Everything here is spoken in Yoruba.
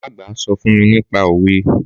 Màmá àgbà sọ fún mi nípa òwe.